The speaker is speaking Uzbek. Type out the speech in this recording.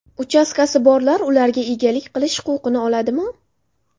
Uchastkasi borlar ularga egalik qilish huquqini oladimi?